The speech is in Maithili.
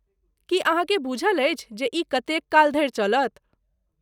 की अहाँकेँ बूझल अछि जे ई कतेक काल धरि चलत?